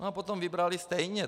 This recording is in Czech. No a potom vybrali stejně.